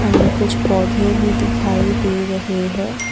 हमें कुछ पौधे भी दिखाई दे रहे हैं।